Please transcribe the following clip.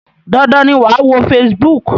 Dandan ni wàá wo Facebook!